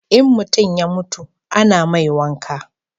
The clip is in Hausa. in mutum ya mutu a na mai wanka